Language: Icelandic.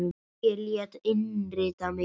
Ég lét innrita mig í